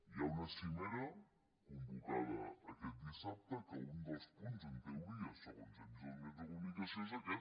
hi ha una cimera convocada aquest dissabte que un dels punts en teoria segons hem vist als mitjans de comunicació és aquest